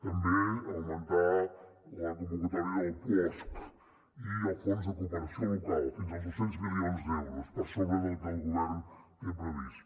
també augmentar la convocatòria del puosc i el fons de cooperació local fins als dos cents milions d’euros per sobre del que el govern té previst